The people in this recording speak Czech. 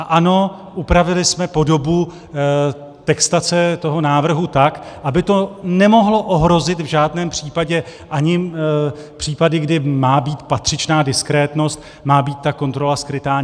A ano, upravili jsme podobu textace toho návrhu tak, aby to nemohlo ohrozit v žádném případě ani případ, kdy má být patřičná diskrétnost, má být ta kontrola skrytá.